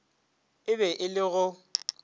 e be e le go